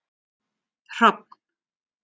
Hrafn